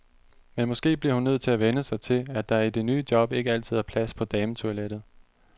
Men måske bliver hun nødt til at vænne sig til, at der i det nye job ikke altid er plads på dametoilettet.